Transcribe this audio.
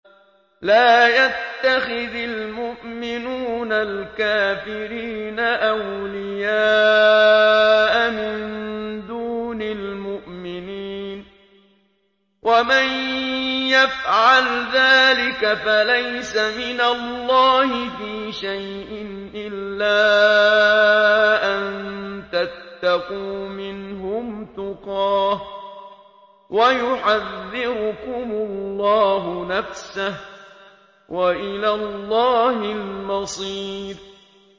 لَّا يَتَّخِذِ الْمُؤْمِنُونَ الْكَافِرِينَ أَوْلِيَاءَ مِن دُونِ الْمُؤْمِنِينَ ۖ وَمَن يَفْعَلْ ذَٰلِكَ فَلَيْسَ مِنَ اللَّهِ فِي شَيْءٍ إِلَّا أَن تَتَّقُوا مِنْهُمْ تُقَاةً ۗ وَيُحَذِّرُكُمُ اللَّهُ نَفْسَهُ ۗ وَإِلَى اللَّهِ الْمَصِيرُ